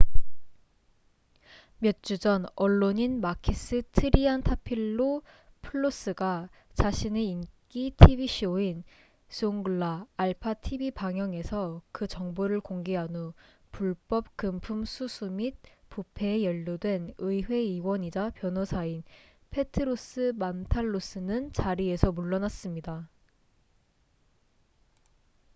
몇 주 전 언론인 마키스 트리안타필로풀로스가 자신의 인기 tv 쇼인 'zounglaalpha tv 방영'에서 그 정보를 공개한 후 불법 금품 수수 및 부패에 연루된 의회 의원이자 변호사인 페트로스 만탈로스는 자리에서 물러났습니다